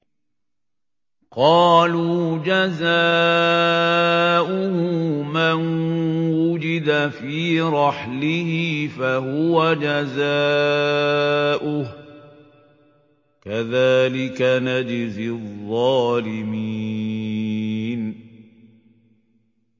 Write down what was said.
قَالُوا جَزَاؤُهُ مَن وُجِدَ فِي رَحْلِهِ فَهُوَ جَزَاؤُهُ ۚ كَذَٰلِكَ نَجْزِي الظَّالِمِينَ